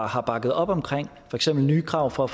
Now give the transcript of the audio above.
har bakket op omkring for eksempel nye krav for